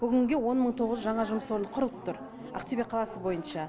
бүгінге он мың тоғыз жүз жаңа жұмыс орны құрылып тұр ақтөбе қаласы бойынша